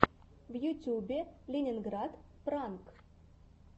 в ютьюбе ленинград пранк